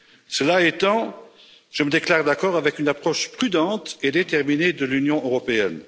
Cela étant, je me déclare d'accord avec une approche prudente et déterminée de l'Union européenne.